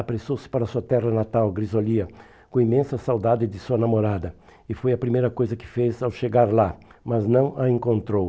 apressou-se para sua terra natal, Grisolia, com imensa saudade de sua namorada, e foi a primeira coisa que fez ao chegar lá, mas não a encontrou.